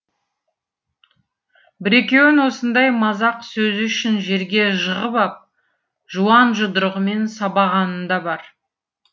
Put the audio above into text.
бір екеуін осындай мазақ сөзі үшін жерге жығып ап жуан жұдырығымен сабағаны да бар